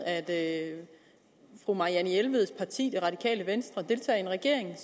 at fru marianne jelveds parti det radikale venstre deltager i en regering